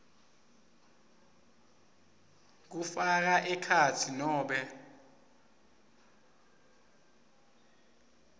kufaka ekhatsi nobe